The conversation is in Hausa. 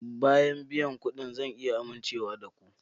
Bayan biyan kuɗin zan iya amincewa da ku?